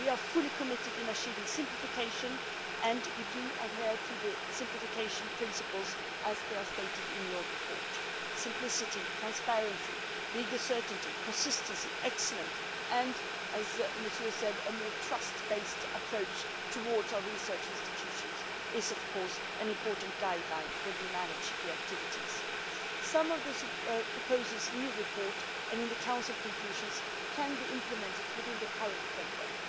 We are fully committed to achieving simplification and adhering to the simplification principles as stated in your report simplicity, transparency, legal certainty, consistency, excellence and, as Mr Audy said, a more trust based approach towards our research institutions is, of course, an important guideline for managing the activities. Some of the proposals in your report and in the Council conclusions can be implemented within the current framework.